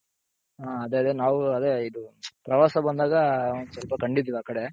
ಹ ಅದೇ ಅದೇ ನಾವು ಅದೇ ಇದು ಪ್ರವಾಸ ಬಂದಾಗ ಸ್ವಲ್ಪ ಕಂಡಿದ್ವಿ ಆ ಕಡೆ.